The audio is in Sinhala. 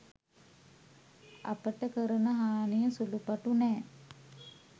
අපට කරන හානිය සුළු පටු නෑ.